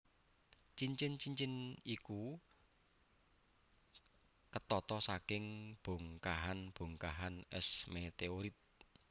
Cincin cincin iku ketata saking bongkahan bongkahan es meteorit